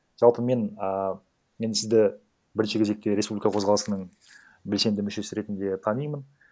жалпы мен ааа мен сізді бірінші кезекте республика қозғалысының белсенді мүшесі ретінде танимын